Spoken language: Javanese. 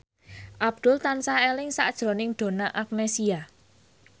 Abdul tansah eling sakjroning Donna Agnesia